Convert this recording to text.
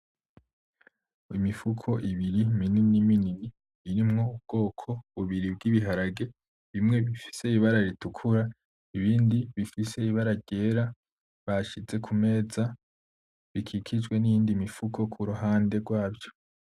Imifuko ibiri minini minini irimwo ubwoko bubiri bw’ ibiharage, bimwe bifise ibara ritukura, ibindi bifise ibara ryera bashize ku meza bikikijwe n’iyindi mifuko ku ruhande rwaco.